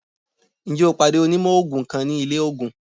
Njẹ o pade onimò oogun kan ni ile oogùn?